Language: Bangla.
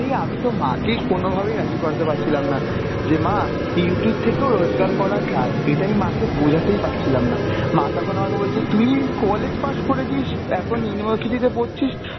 এই আমি তো মাকে কোনোভাবেই রাজি করাতে পারছিলাম না , যে মা Youtube থেকেও রোজগার করা যায়, এটা আমি মাকে বোঝাতেই পারছিলাম না, মা তখন আমাকে বলছিলো তুই college pass করেছিস এখন university তে পড়ছিস,